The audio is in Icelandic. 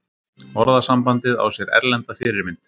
orðasambandið á sér erlenda fyrirmynd